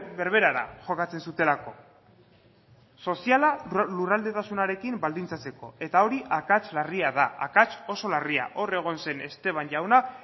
berberara jokatzen zutelako soziala lurraldetasunarekin baldintzatzeko eta hori akats larria da akats oso larria hor egon zen esteban jauna